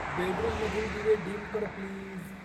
बेडरूममधील दिवे डीम कर प्लीज